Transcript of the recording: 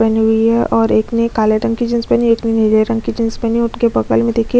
पहनी हुई है और एक ने काले रंग की जिन्स पहनी हुई है एक ने नीले रंग की जिन्स पहनी हुई है उनके बगल में--